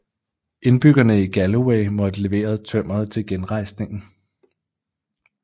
Indbyggerne i Galloway måtte levere tømmeret til genrejsningen